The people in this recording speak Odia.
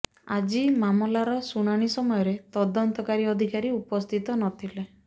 ଆଜି ମାମଲାର ଶୁଣାଣି ସମୟରେ ତଦନ୍ତକାରୀ ଅଧିକାରୀ ଉପସ୍ଥିତ ନଥିଲେ